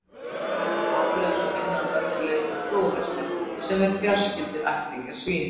Dýrin eru hárlaus og minna að mörgu leyti á flóðhesta, sem eru fjarskyldir ættingjar svína.